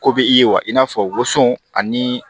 Ko bɛ i ye wa i n'a fɔ woson ani